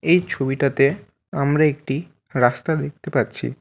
এই ছবিটাতে আমরা একটি রাস্তা দেখতে পাচ্ছি।